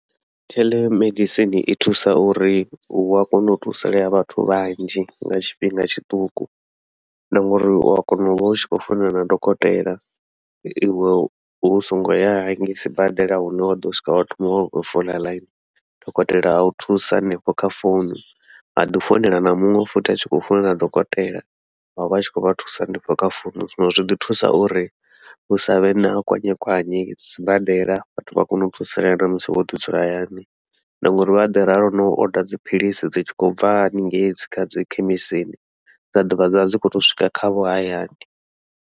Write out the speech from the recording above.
Telemedicine i thusa uri hu a kona u thusalea vhathu vhanzhi nga tshifhinga tshiṱuku, na ngauri u wa kona uvha u tshi khou fuonelana na dokotela iwe u songo ya hangei sibadela hune wa ḓo swika wa thoma wa khou fola ḽaini, dokotela au thusa hanefho kha founu a ḓi founela na muṅwe futhi a tshi khou founela dokotela wa vha a tshi khou vha thusa hanefho kha founu. Zwino zwi ḓi thusa uri hu savhe na kwanyekwanye sibadela, vhathu vha kone u thusalea namusi wo ḓi dzula hayani na ngauri vha ḓi ralo no oda dziphiḽisi dzi tshi khou bva haningei dzi kha dzi khemisini, dza ḓovha dzavha dzi khou to swika khavho hayani.